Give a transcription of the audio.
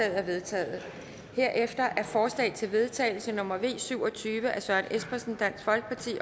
er vedtaget herefter er forslag til vedtagelse nummer v syv og tyve af søren espersen